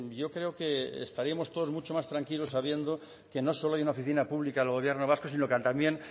yo creo que estaríamos todos muchos más tranquilos sabiendo que no solo hay una oficina pública del gobierno vasco sino que también